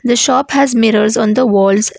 A shop has mirrors on the walls.